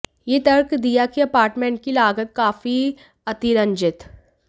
यह तर्क दिया कि अपार्टमेंट की लागत काफी अतिरंजित